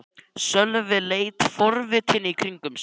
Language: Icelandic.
Sölvi leit forvitinn í kringum sig.